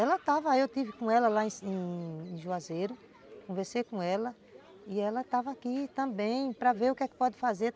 Ela estava, eu estive com ela lá em Juazeiro, conversei com ela e ela estava aqui também para ver o que é que pode fazer.